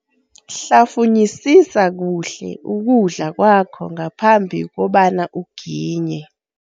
Hlafunyisisa kuhle ukudla kwakho ngaphambi kobana uginye.